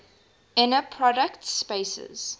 inner product spaces